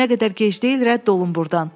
Nə qədər gec deyil rədd olun burdan.